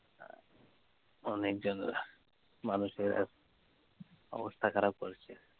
অনেক মানুষের অবস্থা খারাপ করেছে